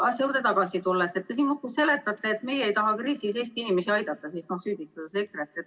Aga asja juurde tagasi tulles, te siin muudkui seletate, et meie ei taha kriisis Eesti inimesi aidata, ja süüdistate EKRE-t.